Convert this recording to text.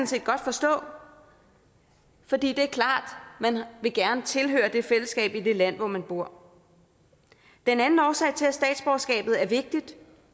set godt forstå for det er klart at man gerne vil tilhøre det fællesskab i det land hvor man bor den anden årsag til at statsborgerskabet er vigtigt